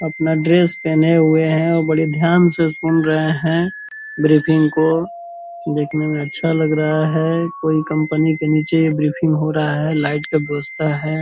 अपना ड्रेस पहने हुए हैं और बड़े ध्यान से सुन रहे हैं ब्रीफिंग को देखने मे अच्छा लग रहा है कोई कंपनी के नीचे ये ब्रीफिंग हो रहा है लाइट का व्यवस्था है।